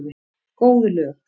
Góð lög.